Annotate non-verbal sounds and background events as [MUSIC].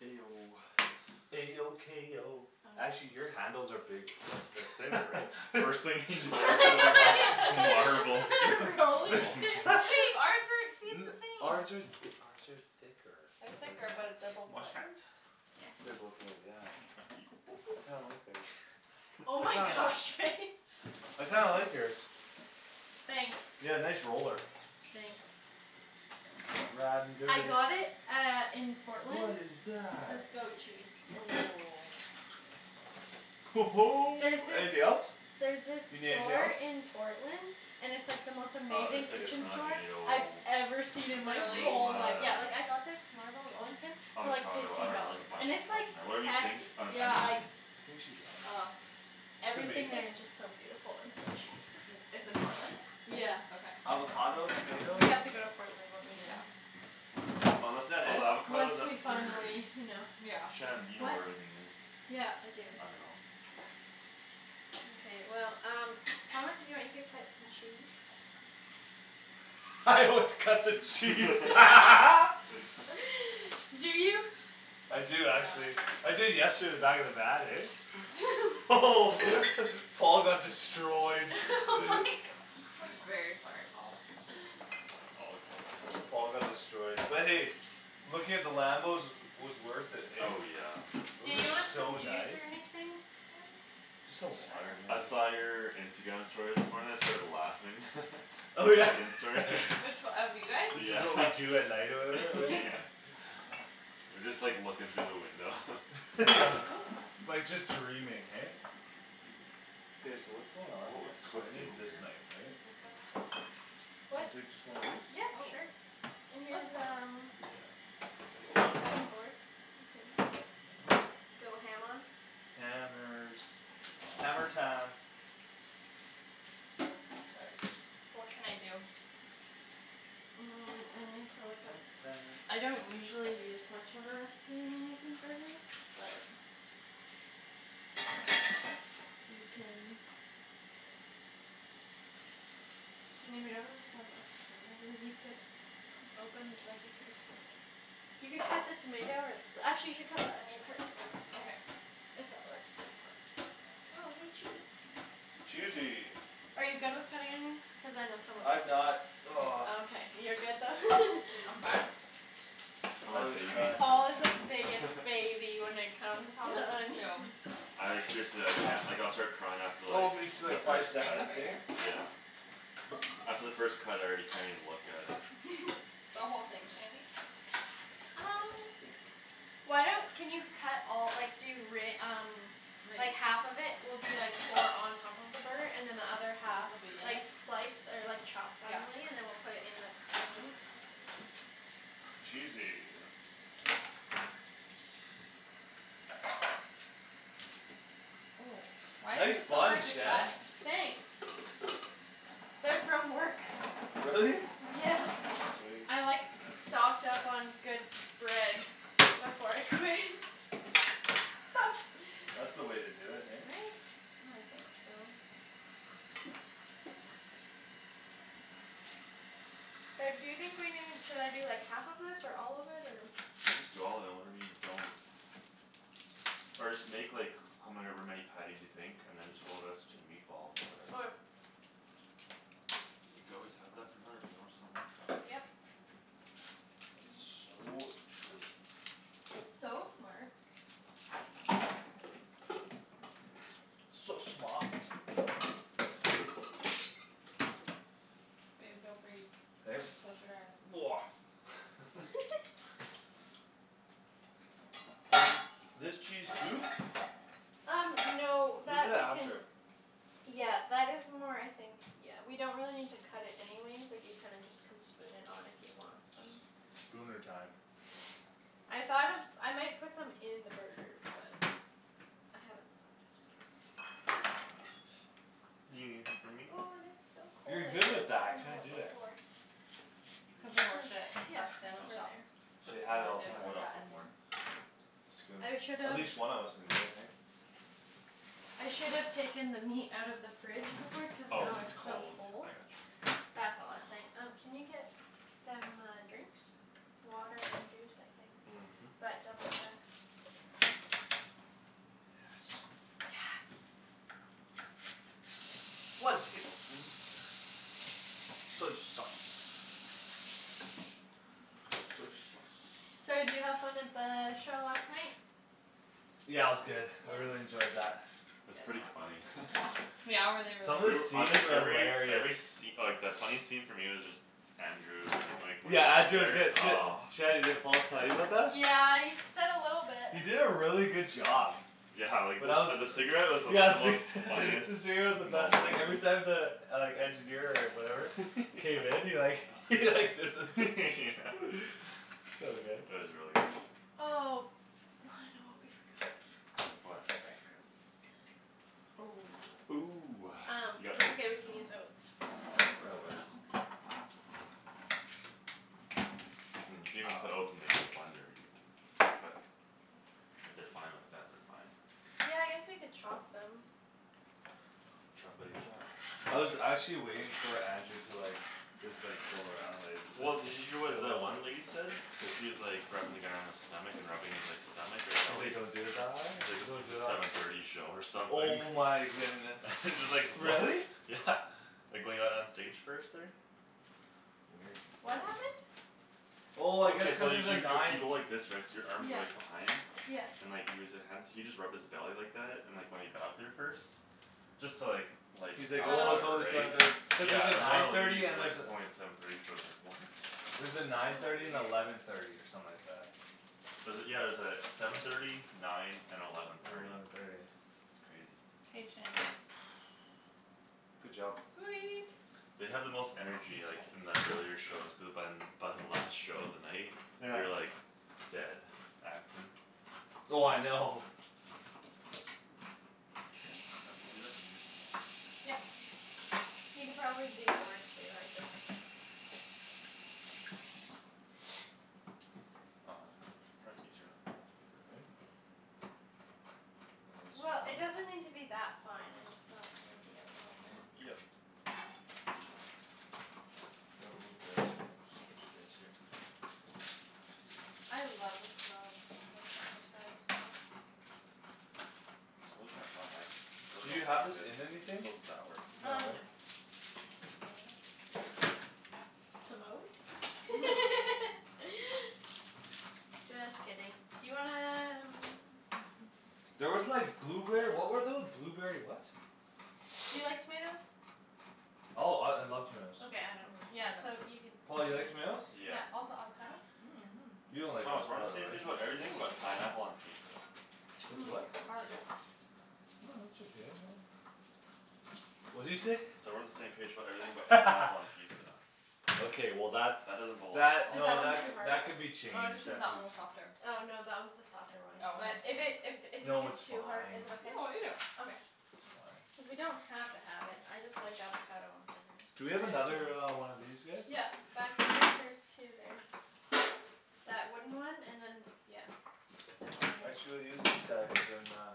A O A O K O actually [NOISE] your handles are bigg- uh they're thinner, right? [LAUGHS] First thing he notices is the marble [LAUGHS] [LAUGHS] Rolling rolling pin? pin. [LAUGHS] But babe, our [INAUDIBLE] the [LAUGHS] same! Ours are th- ours are thicker. They're Think our thicker but they're both Wash wood. hands? Yes. They're both wood, yeah. I kinda [NOISE] like theirs. Oh I my kind of gosh, Faye. [LAUGHS] I kinda like yours. Thanks. Yeah, nice roller. Thanks. Ridin' I dirty. got it uh in What Portland. is That's that? goat cheese. [NOISE] There's Anything this else? There's this You need anything store else? in Portland And it's like the most Oh, amazing there's, I like, guess kitchen not. store I've tomato ever seen in my Really? whole Arugula life. Yeah, like, I got this marble rolling pin For like Avocado, I fifteen dunno, there's dollars, a and bunch of it's, stuff like, in there. Whatever you think hefty. Uh an Yeah. Like onion. I think she's all right over [NOISE] there. Everything Tomato? there is just so beautiful and so cheap. [NOISE] It's in Portland? Yeah. Okay, I'm gonna Avocado? go find Tomato? Yeah. We that then. have to No. go to Portland one Yeah. weekend. Is Unless, that oh, the it? avocado's Once up we there finally, already. you know. Yeah. Shan, you know What? where everything is. Yeah, I do. I dunno. Mkay, well, um Thomas if you want you could cut some cheese. [LAUGHS] Let's cut the cheese. [LAUGHS] [LAUGHS] [LAUGHS] [NOISE] Do you? I do actually. Yeah. I did yesterday in the back of the van, eh? [LAUGHS] [LAUGHS] Paul got [LAUGHS] destroyed. [LAUGHS] My [NOISE] gosh. I'm very sorry, Paul. All good. Paul got destroyed but hey, looking at the Lambos was, was worth it, hey? Oh, yeah. Do Those are you want some so juice nice. or anything, guys? Just some water Sure. I maybe. saw your Instagram story this morning; I started laughing. [LAUGHS] The Megan story. [LAUGHS] [LAUGHS] Which o- of you guys? This is Yeah, what we [LAUGHS] do at night or whatever? Oh Yeah. yeah. [LAUGHS] [LAUGHS] You're just, like, looking through the window. [LAUGHS] Yeah, Oop like, just dreaming, hey? K, so what's going on What here? was So I cooked in need this here? knife, right? Can What? I take just one of these? Yep, Oh. sure. And Oh, it's here's fine there. um Yeah. Slowly. Here's a cutting board. You can go ham on. Hammers. Hammer time. Nice. What can I do? Mm, I need to look up Hammer time. I don't usually use much of a recipe when I'm making burgers, but You can I mean, we don't really have a ton [NOISE] of them. You could Open, like, you can You could cut the tomato or Actually, you should cut the onion first. Okay. If that works. Oh, hey, cheese. Cheesy! Are you good with cutting onions? Cuz I know some of us I'm aren't not. He's Oh, [NOISE] not. okay. You're good though. [LAUGHS] I'm fine. I'm I a always baby. cry. Paul is the biggest [LAUGHS] baby when it comes Thomas to is onions. too. [LAUGHS] I, like, seriously I can't. Like I'll start crying after, Oh like, me too, the like We're five first just gonna cut. cut seconds, right hey? here? Yeah. Yep. After the first cut I already can't even look at it. [LAUGHS] The whole thing, Shandy? Um Why don't, can you cut all, like, do re- um Like, [INAUDIBLE] half of it will be, like, for on top of the burger and then the other half Will be in Like, it? slice or, like, chop Yeah. Finely and then we'll put it in the, the meat. Cheesy. Oh, why is Nice this so buns, hard to Shan. cut? Thanks. They're from work. Really? Yeah. Sweet. I, like, stocked up on good bread Before I quit. [LAUGHS] [LAUGHS] That's the way to do it, [LAUGHS] hey? Right? I think so. Reb, do you think we need, should I do, like, half of this or all of it or I'm just doing all of it and whatever we don't Or just make, like, however many patties you think and then just roll the rest into meatballs or Okay. whatever. You could always have that for another meal somewhere. Yep. [NOISE] So true. It's so smart. So smaht. Babe, don't breathe. Close your eyes. [NOISE] [LAUGHS] [LAUGHS] Do I do this cheese too? Um no We'll do that that we can after. Yeah, that is more, I think Yeah, we don't really need to cut it anyways. Like, you kinda just Can spoon it on if you want some. Spooner time. I thought of, I might put some in the burger but I haven't decided. You gonna leave some for me? Ooh, this is so cold. You're I good should've with that, I taken that can't out do it. before. Did It's you cuz I bring them? My, worked at yeah, that it's Oh. sandwich over shop. there. They And had it all all I [NOISE] the did time, Take was what eh? cut off of where? onions. It's good. I should've At least one of us can do it, hey? I should've taken the meat out of the fridge before cuz Oh, now cuz it's it's so cold, cold. I got you. That's all I was saying. Um can you get Them uh drinks? Water and juice, I think, Mhm. but double check. Yes. Yes. One tablespoon Soy sauce. Soy sauce. So did you have fun at the show last night? Yeah, it was good. I Yeah? really enjoyed that. It's Yep. pretty funny. [LAUGHS] Yeah? Were they really Some of the good? [NOISE] I scenes think are every, every hilarious. sce- like, the funny scene for me was just Andrew and, like, Yeah, Andrew was whenever good. [INAUDIBLE] D- oh. Shanny, did Paul tell you about that? Yeah, he s- said a little bit. He did a really good job. Yeah, like, the When I was, s- uh yeah [LAUGHS] the the cigarette cigarette was the most funniest was the moment best, like every time the Like engineer or whatever K, then he like [LAUGHS] he like did the [LAUGHS] [NOISE] So good. It was really good. Oh, I know what we forgot. What? Bread crumbs. Oh. Ooh, Um, you got that's okay oats? we can use oats. Oh, real That works. oats. Mm, you could even put Oh oats in, like, the blender even but if they're fine like that, they're fine. Yeah, I guess we could chop them. Choppity chop. I was actually waiting for Andrew to like Just like, go around, like Well, did you hear what the one [INAUDIBLE] lady said? Cuz he was, like, rubbing the guy on his stomach and rubbing his, like, stomach or He's like belly don't do the thigh? Like this Don't is do the the seven thirty show or something. Oh my goodness. [LAUGHS] Just like, what? Really? Yeah, like when he got on stage first there. Weird. What happened? Oh I guess Okay, so cuz you there's a y- y- you nine go like this, right? So your arms are like Yeah. behind? Yeah. And like he was li- hands he just rubbed his belly like that and when he got up there first Just to, like, lighten the He's like, crowd or "Oh, Oh it's whatever, only right? seven thirty." Cuz there's a Yeah, and one of nine the thirty ladies and is like, there's a it's only seven thirty, she was like, "What?" There's a nine Oh thirty and weird. eleven thirty or something like that. Was it, yeah, it was uh seven thirty nine and eleven And thirty. eleven thirty. It's crazy. Patience. [NOISE] Good job. Sweet. They have the most energy, like, in the earlier shows cuz by By the last show of the night Yeah. you're, like Dead, acting. Oh I know. Let me do that and you can do something else? Yep. You could probably do more too, I just Aw, I was gonna say it's probably easier in a blender, [NOISE] right? A little It'll Well, get smaller? it smaller? doesn't need to be that fine, I just thought maybe a little bit. Yep. The Here I'll oat move bag's the oats coming somewhere else onto you'll my have more space space here. here. I love the smell of worcestershire sauce. So [INAUDIBLE] I Do really you don't like have this it. in It's anything? so sour. No, Um no. right? Oh. Some oats? [LAUGHS] [LAUGHS] Just kidding. Do you wanna um [NOISE] There was like Do you blueberry, what were know? tho- blueberry what? Do you like tomatoes? Oh, I, I love tomatoes. Okay, I don't. Yeah, No, I so don't. you could Paul, you like tomatoes? Yeah. Yeah, also avocado? [NOISE] You don't like Thomas we're on the avocado, same Or, page right? about everything ooh, that's but so pineapple hard. on pizza. T- oh With my gosh. what? Hard. No, it's okay. Really? What'd you say? Said we're on the same page about everything but pineapple on [LAUGHS] pizza. Okay, well, that, That doesn't belong that, Is on that no, one that it. too c- hard? that could be Oh, I just changed think that that could be one was softer. Oh, no, that one's the softer one, Oh, but okay. If it, if d- if you think No, it's it's too hard, fine. is it okay? No, I'll eat it. Okay. It's fine. Cuz we don't have to have it. I just like avocado on burgers. Do we I do have another too. uh one of these guys? Yeah. Back there there's two there. That wooden one and then that d- yeah, that one there. Actually we'll use this guy cuz then uh